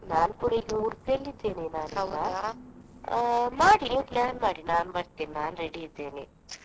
ನಾನು ಕೂಡ ಈಗ Udupi ಯಲ್ಲಿ ಇದ್ದೇನೆ . ಆ ಮಾಡಿ plan ಮಾಡಿ ನಾನು ಬರ್ತೇನೆ ನಾನು ready ಇದ್ದೇನೆ.